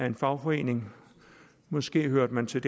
en fagforening måske hørte man til